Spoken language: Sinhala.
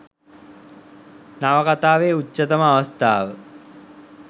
නවකතාවේ උච්චතම අවස්ථාව